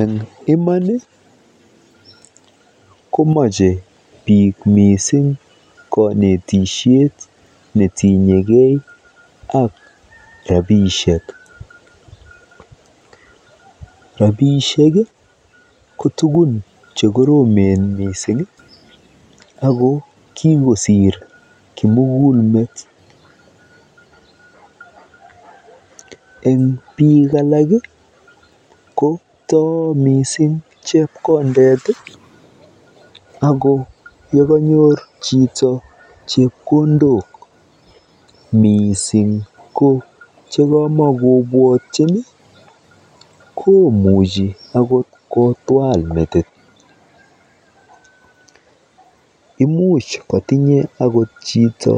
Eng iman komache biik mising konetisiet netinyekei ak rapiishek. Rapiishek ko tukun chekoromen mising ako kikosiir kimugulmet. Eng biik alak ko too mising chekondet ako yenyor chepkondok miising ko chekamokobwotyin komuchi akot kotwaal metit. Imuch kotinye chito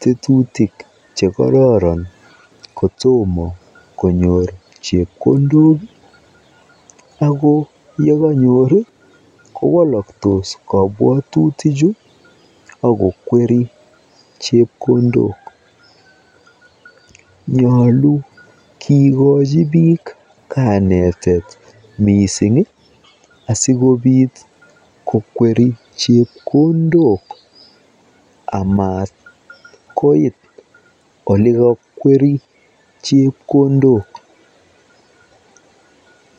tetutik chekororon kotom konyor chepkondok ako yekanyor kowalaktos kabwatutichu akokweri chepkondok. Nyoolu kekochi biik kanetet mising asikokweri chepkondok amat koit olekokweri chepkondok.